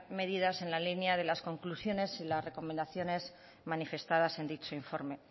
medidas en la línea de las conclusiones y las recomendaciones manifestadas en dicho informe